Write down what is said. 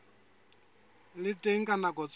le teng ka nako tsohle